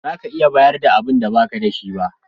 Ba za ka iya bayar da abinda ba ka da shi ba.